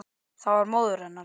Það var móðir hennar.